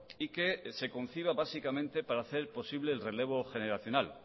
y que se conciba básicamente para hacer posible el relevo generacional